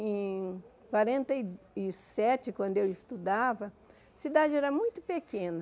Em quarenta e e sete, quando eu estudava, a cidade era muito pequena.